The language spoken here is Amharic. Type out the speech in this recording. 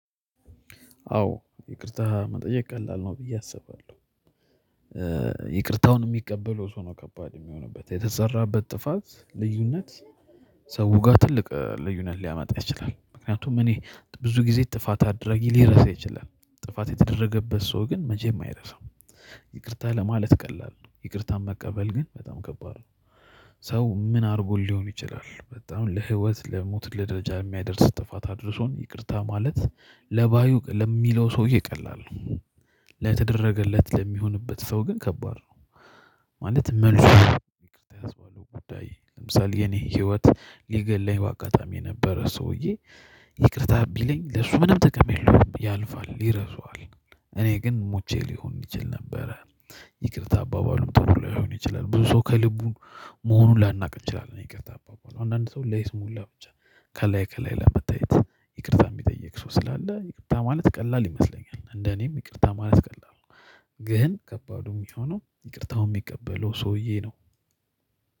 አዎ ይቅርታ መጠየቅ ቀላል ነው ብዬ አስባለሁ። ይቅርታውን የሚቀበለው ሰው ነው ከባድ የሚሆንበት የተሰራበት ጥፋት ልዩነት ሰው ጋር ትልቅ ልዩነት ሊያመጣ ይችላል። ምክንያቱም እኔ ብዙ ጊዜ ጥፋት አድራጊ ሊረሳ ይችላል ጥፋት የተደረገበት ሰው ግን መቼም አይረሳውም። ይቅርታ ለማለት ቀላል ነው ይቅርታን መቀበል ግን በጣም ከባድ ነው። ሰው ምን አርጎልኝ ሊሆን ይችላል በጣም ለህይወት ለሞት ለደረጃ የሚያደርስ ጥፋት አድርሶን ይቅርታ ማለት ለባዩ ለሚለው ሰውዬ ቀላል ነው። ለተደረገለት ለሚሆንበት ሰው ግን ከባድ ነው። ማለት መልስ ይቅርታ ያስባለው ጉዳይ ለምሳሌ የኔ ህይወት ሊገለኝ በአጋጣሚ የነበረ ሰውዬ ይቅርታ ቢለኝ ለሱ ምንም ጥቅም የለውም ያልፋል ይረሰዋል። እኔ ግን ሙቼ ሊሆን ይችል ነበረ። ይቅርታ አባባሉ ጥሩ ላይሆን ይችላል ብዙ ሰው ከልቡ መሆኑን ላናውቅ እንችላለን። ይቅርታ አባባሉ አንዳንድ ሰው ላይ ለይስሙላ ብቻ ከላይ ከላይ ለመታየት ይቅርታ የሚጠይቅ ሰው ስላለ ይቅርታ ማለት ቀላል ይመስለኛል እንደ እኔም ይቅርታ ማለት ቀላል ነው። ግን ከባዱ የሚሆነው ይቅርታው የሚቀበለው ሰውዬ ነው።